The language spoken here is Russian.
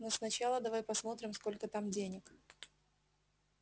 но сначала давай посмотрим сколько там денег